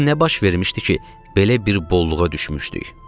Axı nə baş vermişdi ki, belə bir bolluğa düşmüşdük.